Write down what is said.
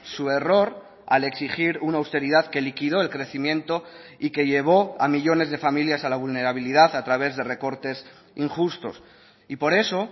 su error al exigir una austeridad que liquidó el crecimiento y que llevó a millónes de familias a la vulnerabilidad a través de recortes injustos y por eso